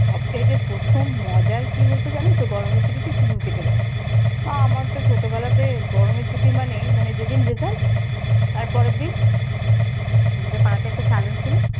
সবচাইতে প্রথম মজার কি হতো জানো তো গরমের ছুটিতে চুল কেটে দেওয়া তা আমার তো ছোটবেলাতে গরমের ছুটি মানে, মানে যেদিন result তারপরের দিন আমাদের পাড়াতে একটা স্যালন ছিল।